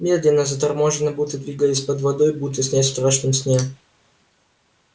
медленно заторможенно будто двигаясь под водой будто снясь в страшном сне